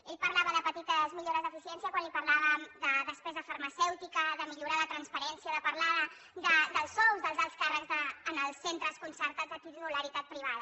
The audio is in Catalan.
ell parlava de petites millores d’eficiència quan li parlàvem de despesa farmacèutica de millorar la transparència de parlar dels sous dels alts càrrecs en els centres concertats de titularitat privada